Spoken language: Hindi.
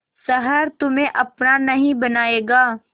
शहर तुम्हे अपना नहीं पाएगा